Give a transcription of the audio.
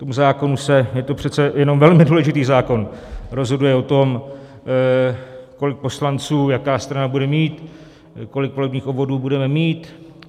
Tomu zákonu se - je to přece jenom velmi důležitý zákon, rozhoduje o tom, kolik poslanců jaká strana bude mít, kolik volebních obvodů budeme mít.